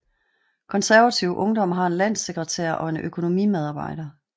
Konservativ Ungdom har en landssekretær og en økonomimedarbejder